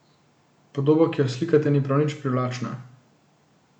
Podoba, ki jo slikate ni prav nič privlačna.